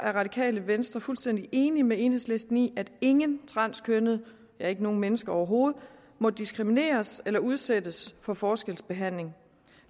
radikale venstre fuldstændig enig med enhedslisten i at ingen transkønnede ja ikke nogen mennesker overhovedet må diskrimineres eller udsættes for forskelsbehandling